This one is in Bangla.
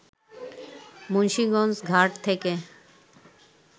মুন্সীগঞ্জ ঘাট থেকে